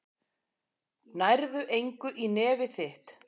Nærðu engu í nefið þitt.